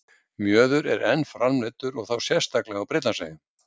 Mjöður er enn framleiddur og þá sérstaklega á Bretlandseyjum.